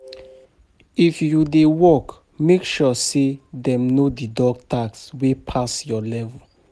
If you dey work, make sure say dem no deduct tax wey pass your level.